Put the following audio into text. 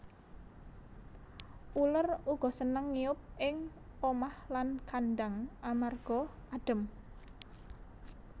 Uler uga seneng ngiyup ing omah lan kandhang amarga adhem